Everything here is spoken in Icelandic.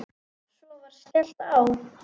Svo var skellt á.